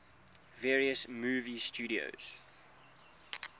various movie studios